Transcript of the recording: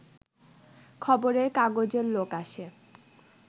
খবরের কাগজের লোক আসে